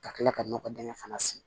Ka kila ka nɔgɔ dingɛ fana sen